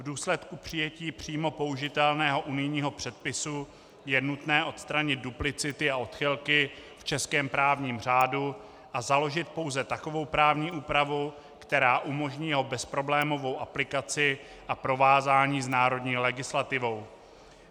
V důsledku přijetí přímo použitelného unijního předpisu je nutné odstranit duplicity a odchylky v českém právním řádu a založit pouze takovou právní úpravu, která umožní jeho bezproblémovou aplikaci a provázání s národní legislativou.